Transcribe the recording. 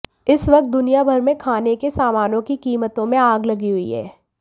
इस वक्त दुनिया भर में खाने के सामानों की कीमतों में आग लगी हुई है